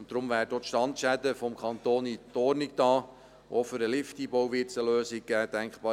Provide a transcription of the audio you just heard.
Deshalb werden die Standschäden vom Kanton auch in Ordnung gebracht, und auch für den Lifteinbau wird es eine Lösung geben.